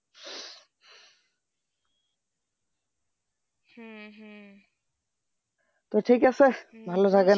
তো ঠিক আছে ভালো থাকেন